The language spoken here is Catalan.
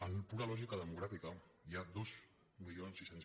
en pura lògica democràtica hi ha dos mil sis cents